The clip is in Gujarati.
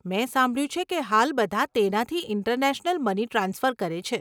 મેં સાંભળ્યું છે કે હાલ બધાં તેનાથી ઇન્ટરનેશનલ મની ટ્રાન્સફર કરે છે?